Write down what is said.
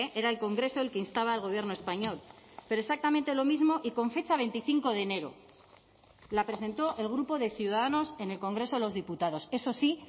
era el congreso el que instaba al gobierno español pero exactamente lo mismo y con fecha veinticinco de enero la presentó el grupo de ciudadanos en el congreso de los diputados eso sí